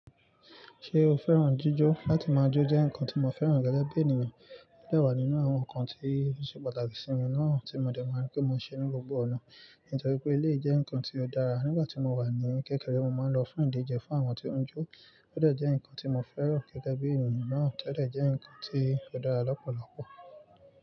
Ṣé o fẹ́ràn jíjọ́? Látí máa jó jẹ́ nnkan tí mo fẹ́ràn gẹ́gẹ́ bí ènìyàn, ó dẹ́ wà nínú àwọn nnkan tí ó ṣe pàtàkì sí mi náà tí mo dẹ̀ máa ń rí pé mo ṣe ní gbogbo ọ̀nà. Nítorí pé eléyii jẹ́ nnkan tí ó dára, nígbà tí mo wà ní kékeré mo máa ń lọ fún ìdíje fún àwọn tí wọ́n ń jó, ó dẹ́ jẹ́ nnkan tí mo fẹ́ràn gẹ́gẹ́ bí ènìyàn náà, tó dẹ́ jẹ́ nnkan tí ó dára lọ́pọ̀lọpọ̀.